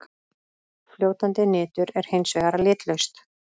Fljótandi nitur er hins vegar litlaust.